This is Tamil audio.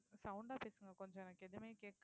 sound ஆ பேசுங்க கொஞ்சம் எனக்கு எதுவுமே கேட்கலை